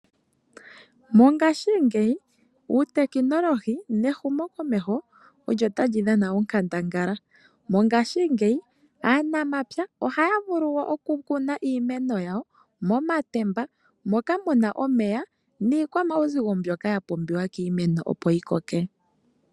Mongaashingeyi uutekinolohi nehumokomeho olyo tali dhana onkandangala, mongaashingeyi aanamapya ohaya vulu okukuna iimeno yawo momatemba moka mu na omeya niikwamauzigo mbyoka ya pumbiwa kiimeno opo yi koke.